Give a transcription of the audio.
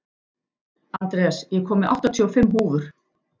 Andreas, ég kom með áttatíu og fimm húfur!